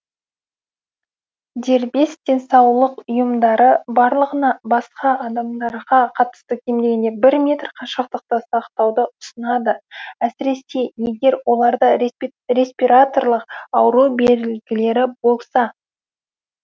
дербес денсаулық ұйымдары барлығына басқа адамдарға қатысты кем дегенде бір метр қашықтықты сақтауды ұсынады әсіресе егер оларда респираторлық ауру белгілері болса